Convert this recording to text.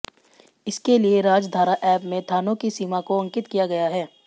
इसके लिए राजधारा एप में थानों की सीमा को अंकित किया गया है